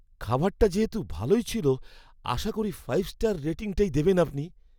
খাবারটা যেহেতু ভালোই ছিল, আশা করি ফাইভ স্টার রেটিংটাই দেবেন আপনি!